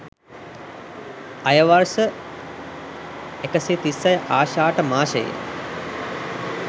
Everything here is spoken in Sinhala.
අයවර්ෂ 136 ආෂාඪ මාසයේ